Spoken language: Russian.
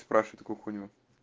спрашивает такую хуйню